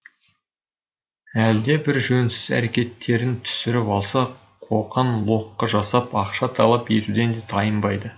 әлде бір жөнсіз әрекеттерін түсіріп алса қоқаң лоққы жасап ақша талап етуден де тайынбайды